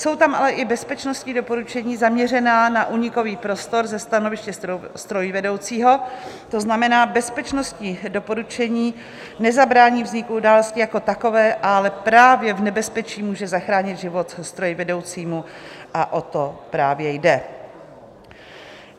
Jsou tam ale i bezpečnostní doporučení zaměřená na únikový prostor ze stanoviště strojvedoucího, to znamená bezpečnostní doporučení nezabrání vzniku události jako takové, ale právě v nebezpečí může zachránit život strojvedoucímu, a o to právě jde.